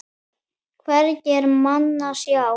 Hvergi er mann að sjá.